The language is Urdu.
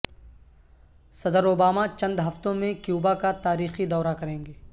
صدر اوباماچند ہفتوں میں کیوبا کا تاریخی دورہ کریں گے